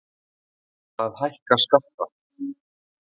Ætla að hækka skatta